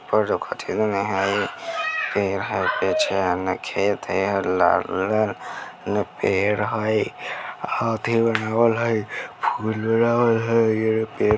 पेड़ है पीछे में खेत है लाल लाल न पेड़ है फूल